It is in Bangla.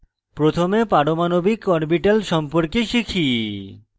প্রথমে পারমাণবিক atomic orbital সম্পর্কে শিখি